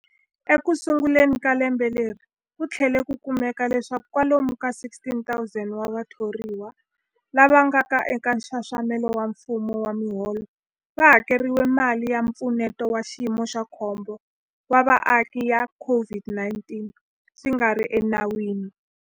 Ekusunguleni ka lembe leri, ku tlhele ku kumeka leswaku kwalomu ka 16,000 wa vathoriwa lava nga eka nxaxamelo wa mfumo wa miholo va hakeriwile mali ya Mpfuneto wa Xiyimo xa Khombo wa Vaaki ya COVID-19 swi nga ri enawini.